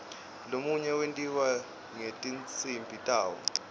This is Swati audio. lomunye wentiwa ngetinsimbi tawo